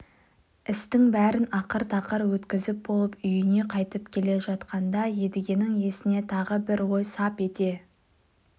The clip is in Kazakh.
істің бәрін ақыр-тақыр өткізіп болып үйіне қайтып келе жатқанда едігенің есіне тағы бір ой сап ете